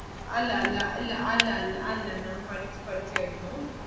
അല്ല അല്ല ഇല്ല അല്ല അല്ല അല്ല ma'am പഠിച്ച് പഠിച്ചുകഴിഞ്ഞു.